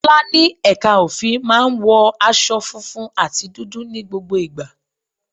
Tọ́lá ní ẹ̀ka òfin máa ń wọ aṣọ funfun àti dúdú ní gbogbo ìgbà.